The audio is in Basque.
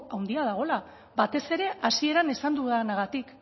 handia dagoela batez ere hasieran esan dudanagatik